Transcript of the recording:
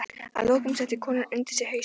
Að lokum setti konan undir sig hausinn.